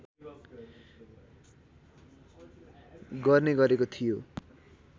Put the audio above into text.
गर्ने गरेको थियो